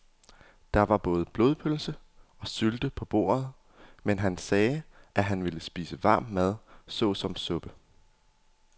Der var både blodpølse og sylte på bordet, men han sagde, at han bare ville spise varm mad såsom suppe.